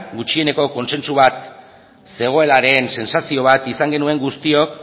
gutxieneko kontsentsu bat zegoenaren sentsazio bat izan genuen guztiok